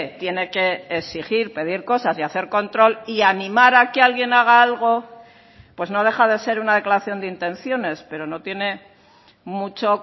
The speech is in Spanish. tiene que exigir pedir cosas y hacer control y animar a que alguien haga algo pues no deja de ser una declaración de intenciones pero no tiene mucho